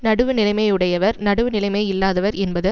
நடுவுநிலைமை உடையவர் நடுவுநிலைமை இல்லாதவர் என்பது